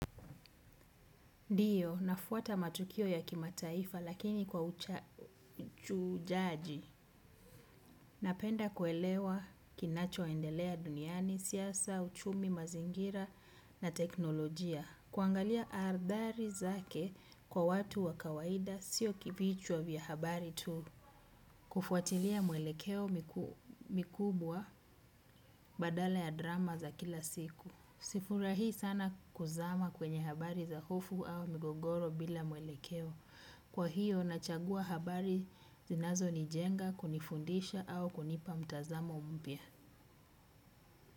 Ndio, nafuata matukio ya kimataifa lakini kwa uchujaji. Napenda kuelewa kinachoendelea duniani, siasa, uchumi, mazingira na teknolojia. Kuangalia athari zake kwa watu wa kawaida sio kivichwa vya habari tu. Kufuatilia mwelekeo mikubwa badala ya drama za kila siku. Sifurahii sana kuzama kwenye habari za hofu au migogoro bila mwelekeo. Kwa hiyo nachagua habari zinazonijenga, kunifundisha au kunipa mtazamo mpya.